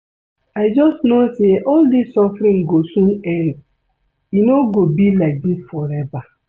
I just know say all dis suffering go soon end, e no go be like dis forever